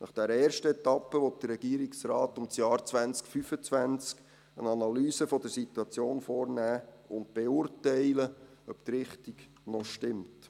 Nach dieser ersten Etappe will der Regierungsrat um das Jahr 2025 herum eine Analyse der Situation vornehmen und beurteilen, ob die Richtung noch stimmt.